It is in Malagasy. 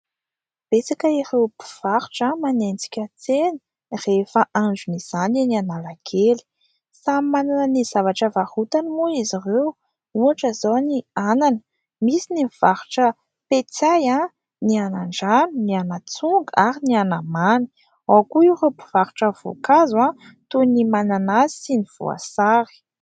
Betsaka ireo mpivarotra no manenjika tsena rehefa andron'izany eny Analakely. Samy manana ny zavatra varotany moa izy ireo ohatra izao ny anana misy ny mivarotra petsay, ny anandrano, ny anatsonga ary ny anamany ao koa ireo mivarotra voankazo toy ny mananasy sy ny voasary.